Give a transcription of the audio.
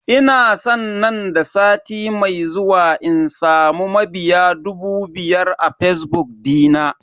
Ina san nan da sati mai zuwa in samu mabiya dubu biyar a fazbuk dina.